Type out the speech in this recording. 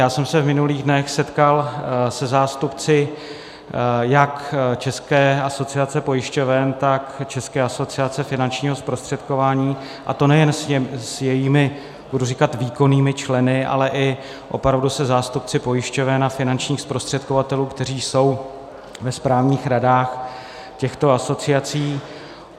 Já jsem se v minulých dnech setkal se zástupci jak České asociace pojišťoven, tak České asociace finančního zprostředkování, a to nejen s jejich, budu říkat, výkonnými členy, ale i opravdu se zástupci pojišťoven a finančních zprostředkovatelů, kteří jsou ve správních radách těchto asociací.